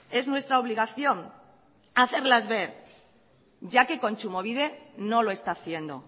es nuestra obligación hacerlas ver ya que kontsumobide no lo está haciendo